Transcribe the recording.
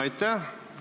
Aitäh!